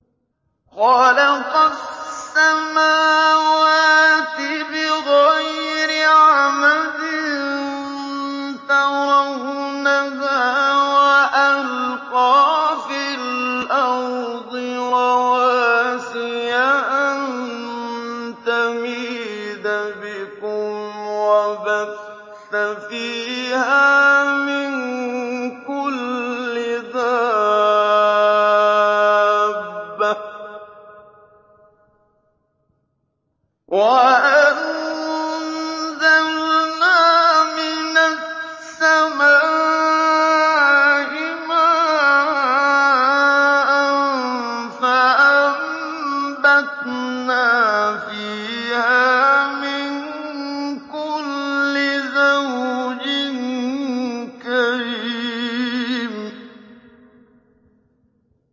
خَلَقَ السَّمَاوَاتِ بِغَيْرِ عَمَدٍ تَرَوْنَهَا ۖ وَأَلْقَىٰ فِي الْأَرْضِ رَوَاسِيَ أَن تَمِيدَ بِكُمْ وَبَثَّ فِيهَا مِن كُلِّ دَابَّةٍ ۚ وَأَنزَلْنَا مِنَ السَّمَاءِ مَاءً فَأَنبَتْنَا فِيهَا مِن كُلِّ زَوْجٍ كَرِيمٍ